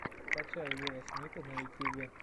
скачай уилла смита на ютюбе